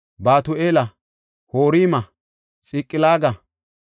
Batu7eela, Horma, Xiqilaaga,